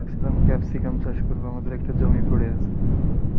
ভাবছিলাম ক্যাপসিকাম চাষ করব আমাদের একটা জমি পরে আছে